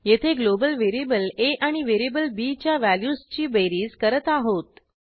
येथे global variable a आणि variable b च्या व्हॅल्यूजची बेरीज करत आहोत